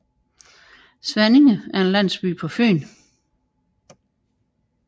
Svanninge er en landsby på Fyn med